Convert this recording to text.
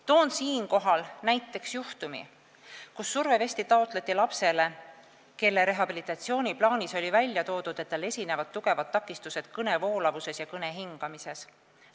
Toon siinkohal näiteks juhtumi, kui survevesti taotleti lapsele, kelle rehabilitatsiooniplaanis oli välja toodud, et tal esinevad tugevad kõnevoolavuse ja kõnehingamise takistused.